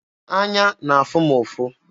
Anya na-afụ m ụfụ.